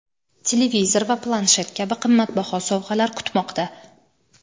televizor va planshet kabi qimmatbaho sovg‘alar kutmoqda.